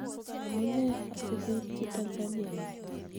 amune asikuityi Tanzania yuto?